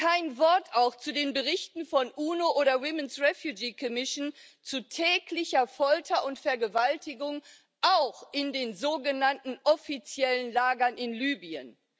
Kein Wort auch zu den Berichten der UNO oder der zu täglicher Folter und Vergewaltigung auch in den sogenannten offiziellen Lagern in Libyen.